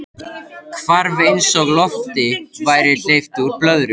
Hvarf eins og lofti væri hleypt úr blöðru.